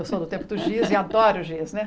Eu sou do tempo do giz e adoro o giz, né?